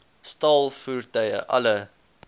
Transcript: staal voertuie alle